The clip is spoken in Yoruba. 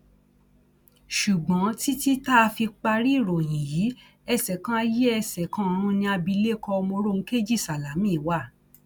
ṣùgbọn títí tá a fi parí ìròyìn yìí ẹsẹ kan ayé ẹsẹ kan ọrun ni abilékọ mòròunkejì sálámí wà